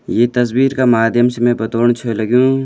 ये तस्वीर का माध्यम से मैं बतौण छ लग्युं --